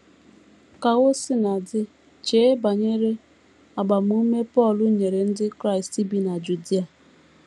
Ka o sina dị, chee banyere agbamume Pọl nyere ndị Kraịst bi na Judia.